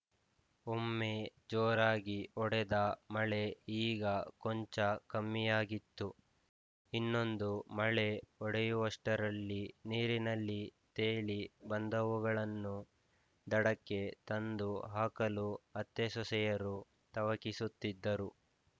ಒಮ್ಮೆ ಜೋರಾಗಿ ಹೊಡೆದ ಮಳೆ ಈಗ ಕೊಂಚ ಕಮ್ಮಿಯಾಗಿತ್ತು ಇನ್ನೊಂದು ಮಳೆ ಹೊಡೆಯುವಷ್ಟರಲ್ಲಿ ನೀರಿನಲ್ಲಿ ತೇಲಿ ಬಂದವುಗಳನ್ನು ದಡಕ್ಕೆ ತಂದು ಹಾಕಲು ಅತ್ತೆಸೊಸೆಯರು ತವಕಿಸುತ್ತಿದ್ದರು